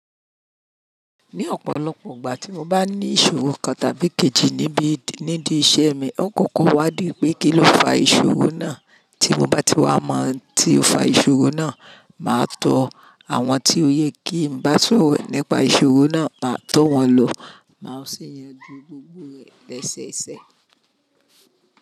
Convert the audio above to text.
Ní ọ̀pọ̀lọpọ̀ ìgbà tí mo bá ní ìṣòro kan tàbí kejì níbí nídìí iṣẹ́ mi, ó kọ́kọ́ wá dì pé kí ló fa ìṣòro náà. Tí mo bá ti wá mọ̀ ohun tí ó ń fa ìṣòro náà, màá tọ àwọn tí ó yẹ kí n bá sọ̀rọ̀ nípa ìṣòro náà, màá tọ́ wọn lọ. Màá sì yanjú gbogbo rẹ̀ lẹsẹ́ e sẹ́.